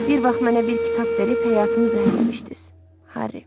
Bir vaxt mənə bir kitab verib həyatımı zəhərləmişdiz, Harri.